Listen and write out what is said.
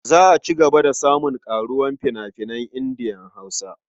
Za a ci gaba da samun ƙaruwar fina-finan Indiya-Hausa.